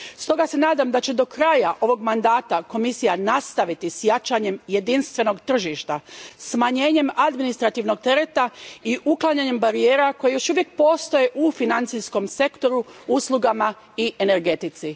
Stoga se nadam da će do kraja ovog mandata Komisija nastaviti s jačanjem jedinstvenog tržišta, smanjenjem administrativnog tereta i uklanjanjem barijera koje još uvijek postoje u financijskom sektoru, uslugama i energetici.